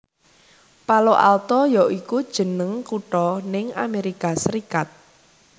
Palo Alto ya iku jeneng kutha ning Amerika Serikat